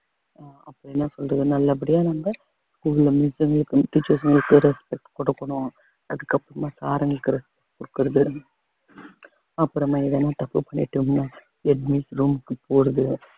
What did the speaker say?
அப்புறம் என்ன சொல்றது நல்லபடியா நம்ம school ல miss ங்களுக்கும் teachers ங்களுக்கும் respect குடுக்கணும் அதுக்கப்புறமா sir ங்களுக்கு respect குடுக்குறது அப்புறமா எதுனா தப்பு பண்ணிட்டோம்ன்னு head miss room க்கு போறது.